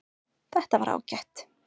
Þetta var ágætt